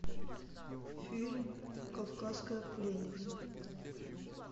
фильм кавказская пленница